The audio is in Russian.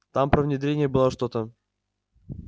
там про внедрение было что-то